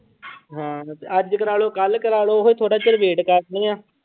ਹਾਂ ਅੱਜ ਕਰਵਾ ਲਓ, ਕੱਲ੍ਹ ਕਰਵਾ ਲਓ ਉਹ ਥੋੜ੍ਹਾ ਚਿਰ wait ਕਰਨੀ ਆਂ।